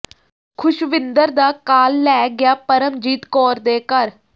ਖੁਸ਼ਵਿੰਦਰ ਦਾ ਕਾਲ ਲੈ ਗਿਆ ਪਰਮਜੀਤ ਕੌਰ ਦੇ ਘਰ